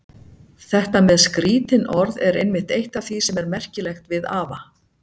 Þetta með skrítin orð er einmitt eitt af því sem er merkilegt við afa.